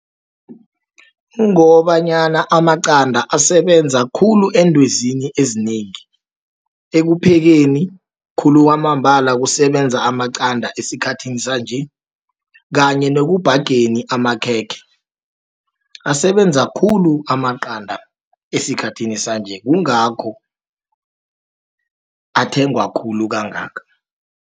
Kungobanyana amaqanda asebenza khulu endwezini ezinengi, ekuphekeni, khulu kwamambala kusebenza amaqanda esikhathini sanje, kanye nekubhageni, amakhekhe. Asebenza khulu amaqanda esikhathini sanje, kungakho athengwakhulu kangaka.